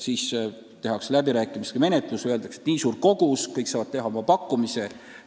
Siis toimuvad läbirääkimised, öeldakse, et kogus on nii ja nii suur, kõik saavad teha oma pakkumise.